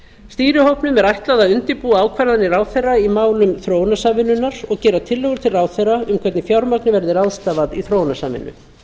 stýrihópnum er ætlað að undirbúa ákvarðanir ráðherra í málum þróunarsamvinnunnar og gera tillögur til ráðherra um hvernig fjármagni verði ráðstafað í þróunarsamvinnu